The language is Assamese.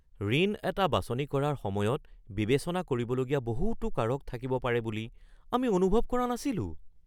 ঋণ এটা বাছনি কৰাৰ সময়ত বিবেচনা কৰিবলগীয়া বহুতো কাৰক থাকিব পাৰে বুলি আমি অনুভৱ কৰা নাছিলোঁ!